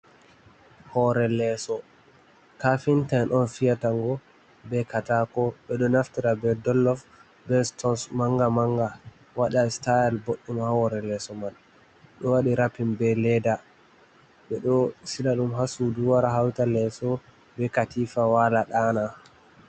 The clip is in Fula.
Hoore leeso kafinta en on fiyata ngo be katako. Ɓeɗo naftira be dollof be stons manga-manga waɗa sitayel boɗɗum ha hore leeso man. Ɗo waɗi rappin be leda ɓeɗo sila ɗum ha sudu wara hauta leso be katifa wala ɗana.